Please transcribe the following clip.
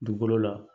Dugukolo la